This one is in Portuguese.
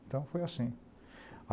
Então foi assim.